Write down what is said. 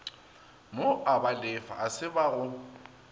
moabalefa a se ba go